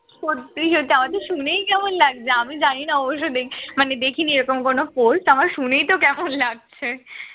সত্যিই সত্যি আমার তো শুনেই কেমন লাগছে আমি জানিনা অবশ্যই দেখ মানে দেখেনি এরকম কোন পোস্ট, আমার শুনেই তো কেমন লাগছে